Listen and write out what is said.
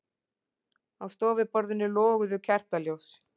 Á stofuborðinu loguðu kertaljós.